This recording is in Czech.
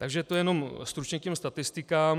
Takže to jenom stručně k těm statistikám.